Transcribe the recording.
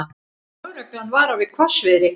Lögreglan varar við hvassviðri